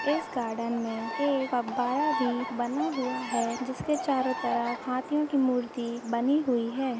इस गार्डन में एक अब फुव्वारा भी बना हुआ है जिसके चारों तरफ हाथियों की मूर्ति बनी हुई है।